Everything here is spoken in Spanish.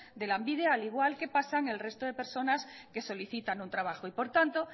de lanbide al igual que pasan el resto de personas que solicitan un trabajo y por tanto